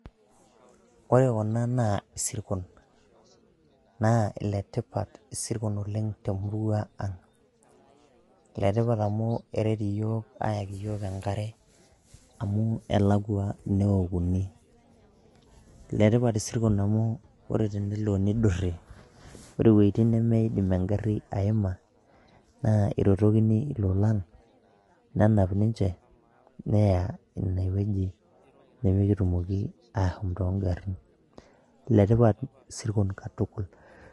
Ore kuna naa isirkon naa letipat oleng' isirkon te murua ang', letipat amu eret iyiook ayaki enkare amu elakwa newokuni, letipat isirkon amu ore tenelo nidurri ore iwojiting' nemiindim engarri aima naa irotokini ilolan nenap ninche neya ine woji nemikitumoki ashom too ngarrin, letipat isirkon katukul.